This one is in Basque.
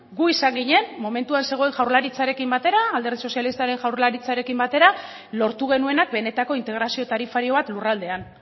gu izan ginen momentuan zegoen jaurlaritzarekin batera alderdi sozialistaren jaurlaritzarekin batera lortu genuenak benetako integrazio tarifario bat lurraldean